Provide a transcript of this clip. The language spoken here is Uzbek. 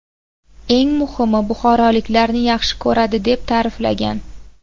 Eng muhimi, buxoroliklarni yaxshi ko‘radi”, deb ta’riflagan.